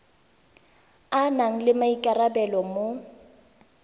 a nang le maikarabelo mo